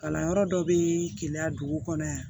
Kalanyɔrɔ dɔ bɛ keleya dugu kɔnɔ yan